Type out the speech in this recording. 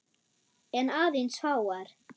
En aðeins fáar.